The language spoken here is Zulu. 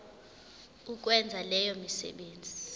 ukwenza leyo misebenzi